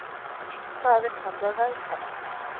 Það er kallað veðkall.